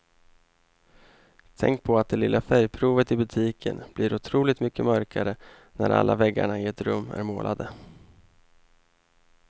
Tänk på att det lilla färgprovet i butiken blir otroligt mycket mörkare när alla väggarna i ett rum är målade.